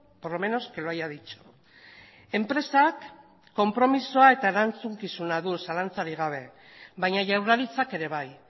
por lo menos que lo haya dicho enpresak konpromisoa eta erantzukizuna du zalantzarik gabe baina jaurlaritzak ere bai